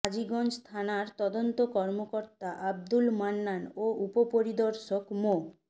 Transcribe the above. হাজীগঞ্জ থানার তদন্ত কর্মকর্তা আবদুল মান্নান ও উপপরিদর্শক মো